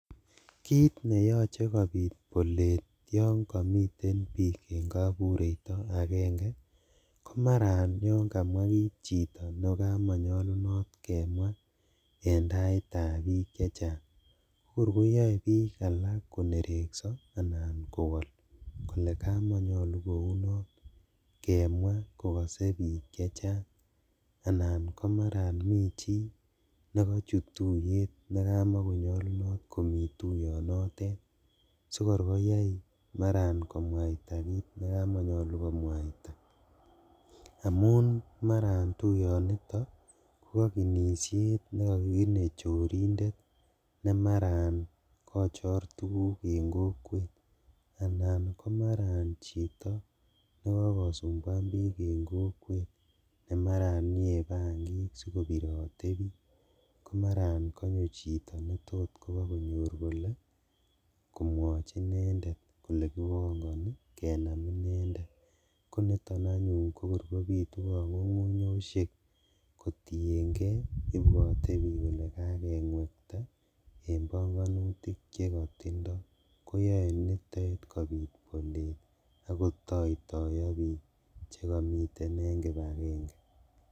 Kit neyoche kopit bolet yon kamiten biik en kabureito agenge ko mara anan yon kamwa kit chito nekamanyalunotkemwa en taitab biik chechang. Kokor koyae biik alak konerekso anan kowol kole kamanyalu kounon kemwa kokase biik chechang anan komarat michi nekachut tuiyet nekamanyalunot komi tuyonotet sikorkoyai marakomwaita kit ne kamatanyalu komwaita. Amun mara tuyonito ko kakinisiet nekakikine chorindet nemarakochor tuguk en kwet ana komara chito ne kokosumbwan biik en kokwet ne mara yeebangik sikobirote biik. Komarakonyo chito netot pakole komwachi inendet kole kimwachi inender kole kipangani kenam inendet. Koniton anyun kobitu kanyunyusiek kotienge ibwote biik kole kakengwekta en banganutik chekatindo, koyae nitet kopit bolet ak kotoitoiyo biik chekamiten en kipakenge.